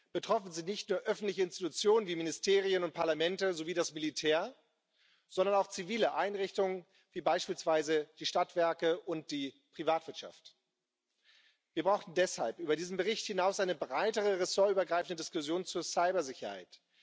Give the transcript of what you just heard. Betroffen sind nicht nur öffentliche Institutionen wie Ministerien und Parlamente sowie das Militär, sondern auch zivile Einrichtungen wie beispielsweise die Stadtwerke und die Privatwirtschaft. Wir brauchen deshalb über diesen Bericht hinaus eine breitere, ressortübergreifende Diskussion zur Cybersicherheit.